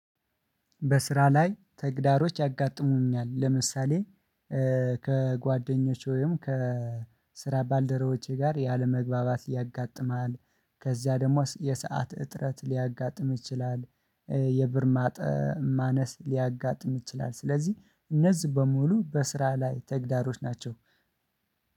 በስራ ላይ ተግዳሮቶች ያጋጥሙኛል ለምሳሌ። ከጓደኞቼ ወይም ከስራ ባልደረቦቼ ጋር ያለመግባባት ያጋጥማል ከዚያ ደግሞ የሰዓት እጥረት ሊያጋጥም ይችላል። የብር ማነስ ሊያጋጥም ይችላል። ስለዚህ እነዚህ በሙሉ በስራ ላይ ተግዳሮቶች ናቸው